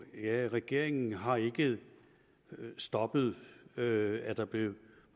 ja regeringen har ikke stoppet at at der blev